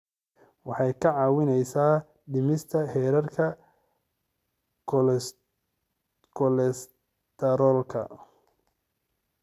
Waxay kaa caawinayaan dhimista heerarka kolestaroolka.